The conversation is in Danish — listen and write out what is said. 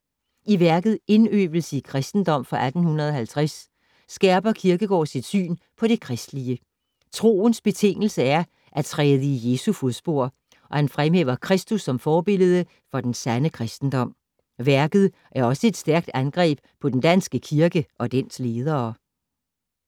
I værket Indøvelse i Christendom fra 1850 skærper Kierkegaard sit syn på det kristelige. Troens betingelse er at ”træde i Jesu fodspor” og han fremhæver Kristus som forbillede for den sande kristendom. Værket er også et stærkt angreb på den danske kirke og dens ledere.